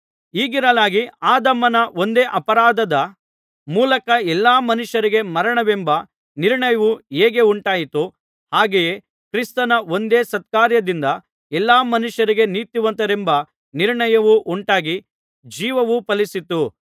ಹೀಗಿರಲಾಗಿ ಆದಾಮನ ಒಂದೇ ಅಪರಾಧದ ಮೂಲಕ ಎಲ್ಲಾ ಮನುಷ್ಯರಿಗೆ ಮರಣವೆಂಬ ನಿರ್ಣಯವು ಹೇಗೆ ಉಂಟಾಯಿತೋ ಹಾಗೆಯೇ ಕ್ರಿಸ್ತನ ಒಂದೇ ಸತ್ಕಾರ್ಯದಿಂದ ಎಲ್ಲಾ ಮನುಷ್ಯರಿಗೆ ನೀತಿವಂತರೆಂಬ ನಿರ್ಣಯವು ಉಂಟಾಗಿ ಜೀವವು ಫಲಿಸಿತು